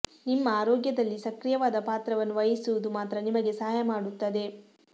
ನಿಮ್ಮ ಆರೋಗ್ಯದಲ್ಲಿ ಸಕ್ರಿಯವಾದ ಪಾತ್ರವನ್ನು ವಹಿಸುವುದು ಮಾತ್ರ ನಿಮಗೆ ಸಹಾಯ ಮಾಡುತ್ತದೆ